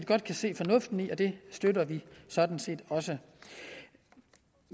godt kan se fornuften i og det støtter vi sådan set